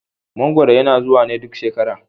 Mangwaro yana zuwa ne duk shekara.